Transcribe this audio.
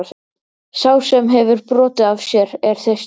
Sá sem hefur brotið af sér er þyrstur.